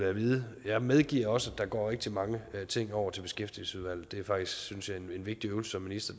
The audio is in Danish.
at vide jeg medgiver også at der går rigtig mange ting over til beskæftigelsesudvalget det er faktisk synes jeg en vigtig øvelse som minister